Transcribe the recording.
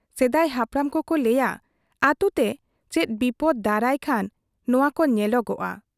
ᱥᱮᱫᱟᱭ ᱦᱟᱯᱲᱟᱢ ᱠᱚᱠᱚ ᱞᱟᱹᱭ ᱟ ᱟᱹᱛᱩᱛᱮ ᱪᱮᱫ ᱵᱤᱯᱚᱫᱽ ᱫᱟᱨᱟᱭ ᱠᱷᱟᱱ ᱱᱚᱣᱟ ᱠᱚ ᱧᱮᱞᱚᱜᱚᱜ ᱟ ᱾